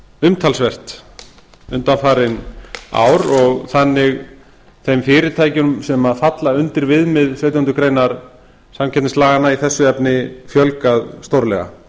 umtalsvert undanfarin ár og þannig þeim fyrirtækjum sem falla undir viðmið sautjándu grein samkeppnislaganna í þessu efni fjölgað stórlega